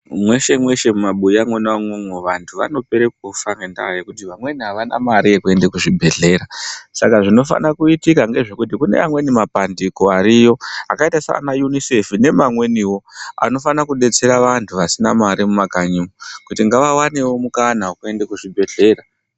Mweshe mweshe mumabuya mwona umwomwo vanthu vanopera kufa ngendaa yekuti vamweni avana mare yekuende kuzvibhedhlera saka zvinofana kuitika ngezvekuti kune amweni mapandiko ariyo akaita sana UNICEF nemamwenio anofanira kudetsera vanthu vasina mare mumakanyimwo kuti ngavaoneo mukana wekuende kuzvibhedhlere.